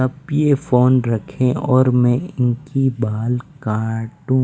आप ये फ़ोन रखें और मैं इनकी बाल काटूँ।